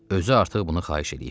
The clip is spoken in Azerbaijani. Özü artıq bunu xahiş eləyib.